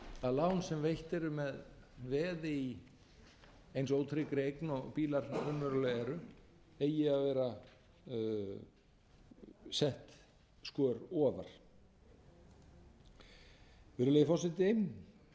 að lán sem veitt eru með veði í eins ótryggri eign og bílar raunverulega eru eigi að vera sett skör ofar virðulegi forseti það